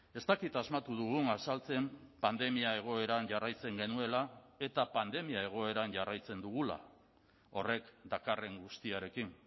ez dakit asmatu dugun azaltzen pandemia egoeran jarraitzen genuela eta pandemia egoeran jarraitzen dugula horrek dakarren guztiarekin